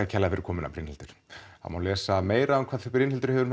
kærlega fyrir komuna Brynhildur það má lesa meira um hvað Brynhildur hefur